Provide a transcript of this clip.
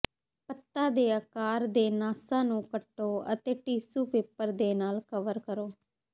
ਪੱਤਾ ਦੇ ਆਕਾਰ ਦੇ ਨਾਸਾਂ ਨੂੰ ਕੱਟੋ ਅਤੇ ਟਿਸ਼ੂ ਪੇਪਰ ਦੇ ਨਾਲ ਕਵਰ ਕਰੋ